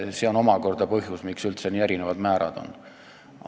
See on omakorda põhjus, miks üldse nii erinevad määrad on.